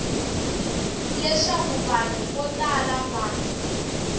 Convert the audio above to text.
leswaku vanhu vo tala va